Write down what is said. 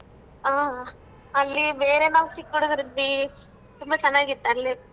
ಆ ಅಲ್ಲಿ ಬೇರೆ ನಾವ್ ಚಿಕ್ ಹುಡ್ಗುರಿದ್ವಿ. ತುಂಬಾ ಚೆನ್ನಾಗಿತ್ ಅಲ್ಲಿ .